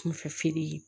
Kunfɛ feere